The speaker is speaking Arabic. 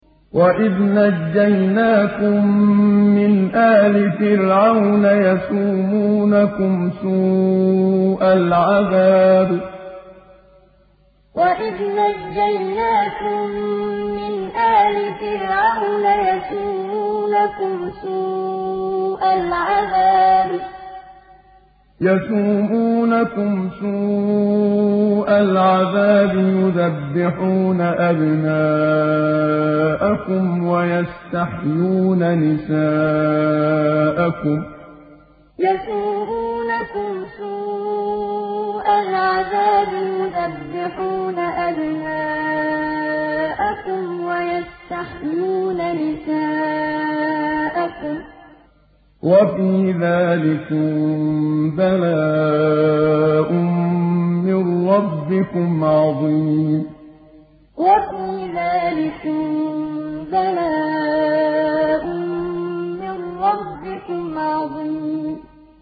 وَإِذْ نَجَّيْنَاكُم مِّنْ آلِ فِرْعَوْنَ يَسُومُونَكُمْ سُوءَ الْعَذَابِ يُذَبِّحُونَ أَبْنَاءَكُمْ وَيَسْتَحْيُونَ نِسَاءَكُمْ ۚ وَفِي ذَٰلِكُم بَلَاءٌ مِّن رَّبِّكُمْ عَظِيمٌ وَإِذْ نَجَّيْنَاكُم مِّنْ آلِ فِرْعَوْنَ يَسُومُونَكُمْ سُوءَ الْعَذَابِ يُذَبِّحُونَ أَبْنَاءَكُمْ وَيَسْتَحْيُونَ نِسَاءَكُمْ ۚ وَفِي ذَٰلِكُم بَلَاءٌ مِّن رَّبِّكُمْ عَظِيمٌ